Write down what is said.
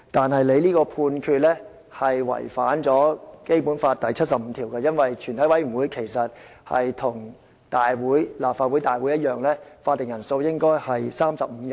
然而，你這個判決違反了《基本法》第七十五條，因為全體委員會其實跟立法會大會一樣，法定人數應該是35人。